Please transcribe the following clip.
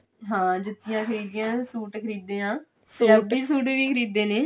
ਹਾਂ ਜੁੱਤੀਆਂ ਖਰੀਦ ਲਈਆਂ ਸੂਟ ਖਰੀਦੇ ਆ ਪੰਜਾਬੀ ਸੂਟ ਵੀ ਖਰੀਦੇ ਨੇ